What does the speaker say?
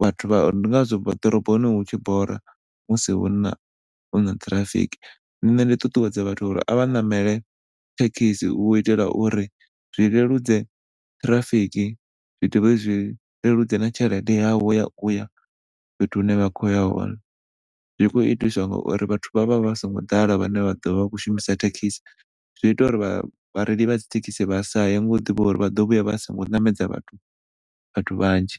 vhathu vha ndi ngazwo ḓoroboni hutshi bora musi huna huna traffic. Ṋne ndi ṱuṱuwedza vhathu uri avha ṋamele thekhisi u itela uri zwi leludze traffic zwi dovhe zwi leludze na tshelede yavho ya uya fhethu hune vha kho ya hone, zwi kho itiswa nga uri vhathu vha vha vha songo ḓala vhane vha ḓovha vha kho shumisa thekhisi zwi ita uri vhareila vha dzithekhisi vhasaye ngo ḓivha uri vhaḓo vhuya vha singo ṋamedza vhathu vhathu vhanzhi.